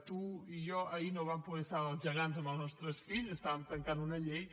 tu i jo ahir no vam poder estar als gegants amb els nostres fills estàvem tancant una llei